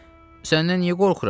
Səndən niyə qorxuram?